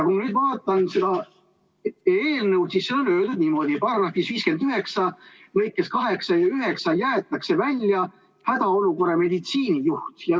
Kui ma nüüd vaatan seda eelnõu, siis näen, et siin on öeldud niimoodi, et § 59 lõigetest 8 ja 9 jäetakse välja "hädaolukorra meditsiinijuht".